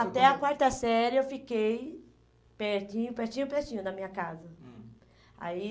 Até a quarta série eu fiquei pertinho, pertinho, pertinho da minha casa. Hum. Aí